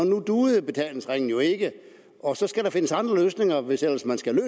duede betalingsringen jo ikke og så skal der findes andre løsninger hvis ellers man skal